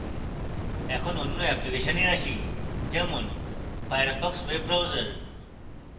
এখন অন্য অ্যাপ্লিকেশনে আসি যেমন firefox web browser